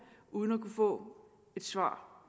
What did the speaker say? uden at kunne få et svar